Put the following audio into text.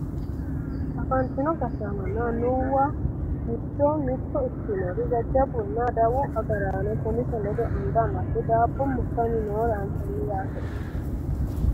afantino gashshaanonna annuwu giddo mitto ikkinori jajjabbunna adawu agaraano poolise ledo anga amadde daabbo murtanni noore anafanni yaate ontu manni